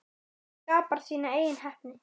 Þú skapar þína eigin heppni.